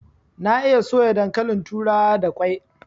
Na iya soya dankalin turawa da kwai